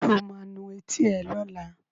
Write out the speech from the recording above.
Sọ ma nu etí ẹ lọ́la?